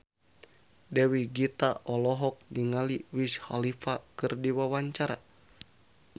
Dewi Gita olohok ningali Wiz Khalifa keur diwawancara